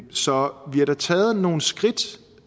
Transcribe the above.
så vi har da taget nogle skridt